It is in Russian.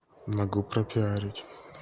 могу пропиарить